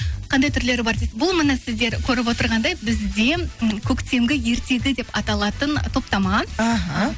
қандай түрлері бар бұл міне сіздер көріп отырғандай бізде м көктемгі ертегі деп аталатын топтама іхі